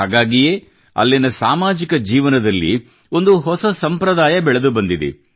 ಹಾಗಾಗಿಯೇ ಅಲ್ಲಿನ ಸಾಮಾಜಿಕ ಜೀವನದಲ್ಲಿ ಒಂದು ಹೊಸ ಸಂಪ್ರದಾಯ ಬೆಳೆದು ಬಂದಿದೆ